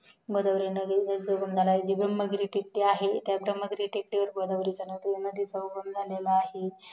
गोदावरी नदी ह्याचा उगम जी ब्रम्हा टेकडी आहे ह्या ब्राम्ह टेकडीवर गोदावरीचा उगम आहे